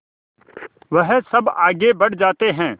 वह सब आगे बढ़ जाते हैं